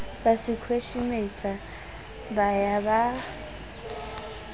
ba sekhweshemetsa ba ya ba